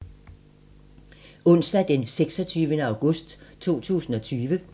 Onsdag d. 26. august 2020